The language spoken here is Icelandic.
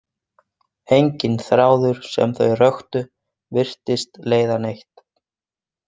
Enginn þráður sem þau röktu virtist leiða neitt.